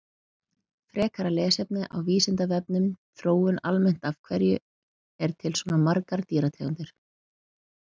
Frekara lesefni á Vísindavefnum Þróun almennt Af hverju eru til svona margar dýrategundir?